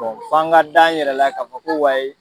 f'an ka dan yɛrɛ la ka fɔ ko